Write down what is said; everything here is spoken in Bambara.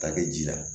Ta kɛ ji la